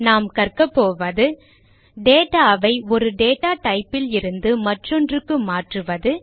நாம் கற்கபோவது data ஐ ஒரு டேட்டா type லிருந்து மற்றொன்றுக்கு மாற்றுவது